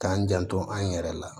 K'an janto an yɛrɛ la